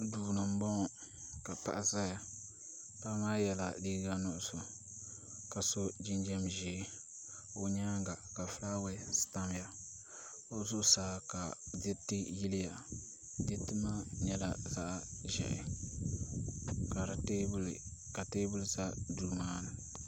Duu ni n boŋo ka paɣa ʒɛya paɣa maa yɛla liiga nuɣso ka so jinjɛm ʒiɛ o nyaanga ka fulaawasi tamya o zuɣusaa ka diriri yiliya diriti maa nyɛla zaɣ ʒiɛhi ka teebuli ʒɛ duu maa ni